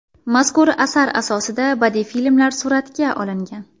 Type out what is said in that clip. Mazkur asar asosida badiiy filmlar suratga olingan.